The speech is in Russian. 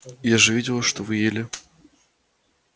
я же видела что вы ели